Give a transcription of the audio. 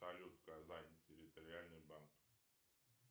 салют казань территориальный банк